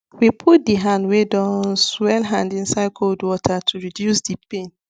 we put the hand wey don swell hand inside cold water to reduce the pain